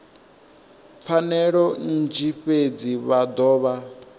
pfanelo nnzhi fhedzi vha dovha